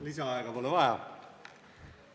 Lisaaega pole vaja.